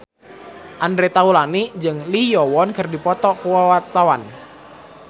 Andre Taulany jeung Lee Yo Won keur dipoto ku wartawan